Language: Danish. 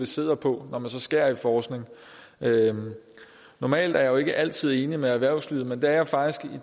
sidder på når man så skærer ned på forskning normalt er jeg jo ikke altid enig med erhvervslivet men det er jeg faktisk